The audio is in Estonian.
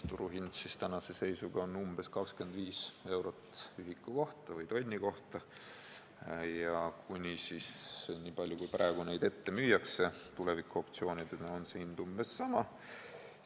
Turuhind tänase seisuga on umbes 25 eurot ühiku või tonni kohta ja – nii palju, kui neid ühikuid praegu ette müüakse – tuleviku optsioonidena on ühiku hind umbes sama.